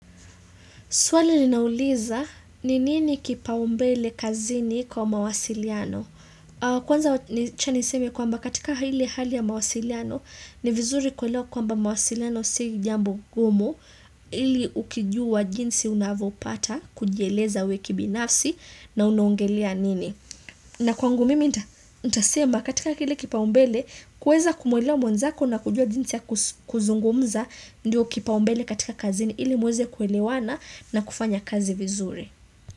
Swali ninauliza ni nini kipaumbele kazini kwa mawasiliano. Kwanza cha niseme kwamba katika ile hali ya mawasiliano ni vizuri kuelewa kwamba mawasiliano si jambo gumu ili ukijua jinsi unavopata kujieleza we kibinafsi na unongelea nini. Na kwangu mimi ntasema katika kile kipaumbele kuweza kumwelewa mwanzako na kujua jinsi ya kuzungumza ndio kipaumbele katika kazini ili muweze kuewelewana na kufanya kazi vizuri.